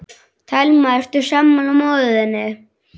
Telma: Ertu sammála móður þinni?